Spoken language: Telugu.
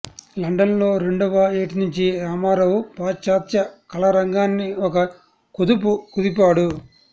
లండన్లో రెండవ ఏటినుంచీ రామారావు పాశ్చాత్య కళారంగాన్ని ఒక కుదుపు కుదిపాడు